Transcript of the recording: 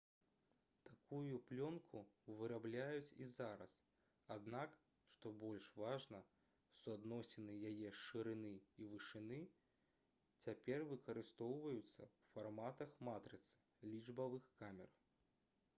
такую плёнку вырабляюць і зараз аднак што больш важна суадносіны яе шырыні і вышыні цяпер выкарыстоўваюцца ў фарматах матрыцы лічбавых камер